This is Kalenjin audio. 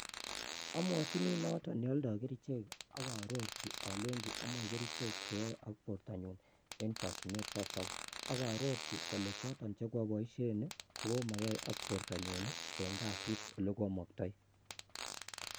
Amwochini noton neoldoi kerichek ak arorchi alenyin amoe kerichek chenomegee ak bortanyun siasob ak arorchi alenyii chekooboshien kokomoyee ak bortanyun eng kasit olekwomoktooim